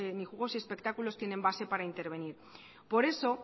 ni juegos y espectáculos tienen base para intervenir por eso